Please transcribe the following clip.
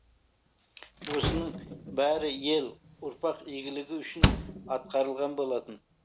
осының бәрі ел ұрпақ игілігі үшін атқарылған болатын